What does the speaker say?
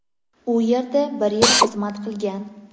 U yerda bir yil xizmat qilgan.